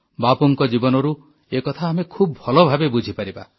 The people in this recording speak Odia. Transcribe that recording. ବାପୁଙ୍କ ଜୀବନରୁ ଏ କଥା ଆମେ ଖୁବ ଭଲ ଭାବେ ବୁଝିପାରିବା